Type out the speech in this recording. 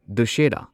Dussehra